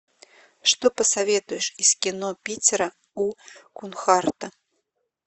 что посоветуешь из кино питера у кунхардта